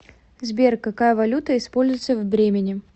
сбер какая валюта используется в бремене